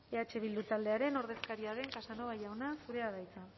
eh bildu taldearen ordezkaria den casanova jauna zurea da hitza